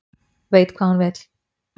Veit hvað hún vill